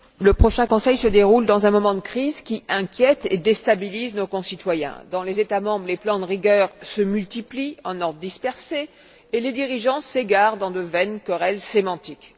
Madame la Présidente, le prochain Conseil se déroule dans un moment de crise qui inquiète et déstabilise nos concitoyens. Dans les États membres, les plans de rigueur se multiplient, en ordre dispersé, et les dirigeants s'égarent dans de vaines querelles sémantiques.